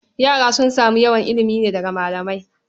Yara sun samu yawan ilimi ne daga malamai.